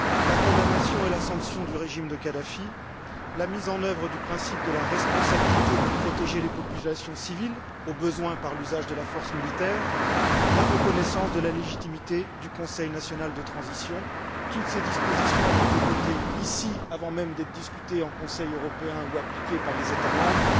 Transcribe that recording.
La condamnation et la sanction du régime de Kadhafi, la mise en œuvre du principe de la responsabilité de protéger les populations civiles, au besoin par l'usage de la force militaire, la reconnaissance de la légitimité du Conseil national de transition toutes ces dispositions ont été votées ici, avant même d'être discutées en Conseil européen ou appliquées par les États membres.